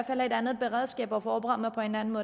have et andet beredskab kan forberede mig på en anden